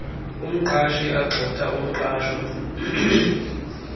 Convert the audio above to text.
umqashi agxotha umqashwa